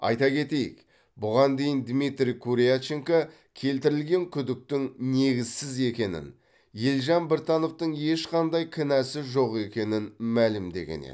айта кетейік бұған дейін дмитрий куряченко келтірілген күдіктің негізсіз екенін елжан біртановтың ешқандай кінәсі жоқ екенін мәлімдеген еді